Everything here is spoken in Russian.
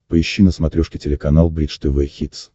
поищи на смотрешке телеканал бридж тв хитс